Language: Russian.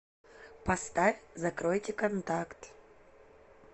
поставь закройте контакт